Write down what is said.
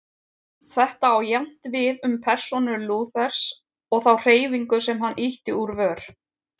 Þetta á jafnt við um persónu Lúthers og þá hreyfingu sem hann ýtti úr vör.